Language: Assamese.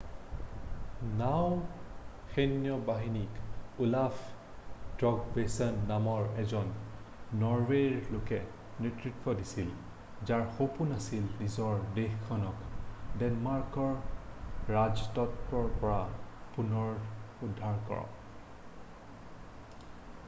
নাওঁ সৈন্য বাহিনীক ওলাফ তৃগভেচন নামৰ এজন নৰৱেৰ লোকে নেতৃত্ব দিছিল যাৰ সপোন আছিল নিজৰ দেশখনক দেনমাৰ্কৰ ৰাজত্বৰ পৰা পুনৰুদ্ধাৰ কৰা